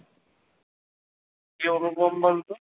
কে অনুপম বলতো